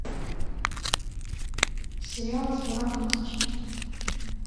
сериалы с бураком озчивитом